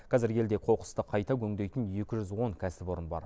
қазір елде қоқысты қайта өңдейтін екі жүз он кәсіпорын бар